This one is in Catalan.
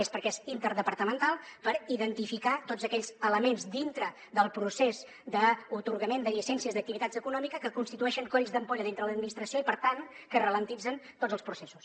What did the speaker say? és perquè és interdepartamental per identificar tots aquells elements dintre del procés d’atorgament de llicències d’activitats econòmiques que constitueixen colls d’ampolla dintre de l’administració i per tant que alenteixen tots els processos